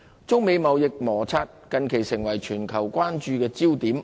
中美貿易摩擦近期成為全球關注焦點。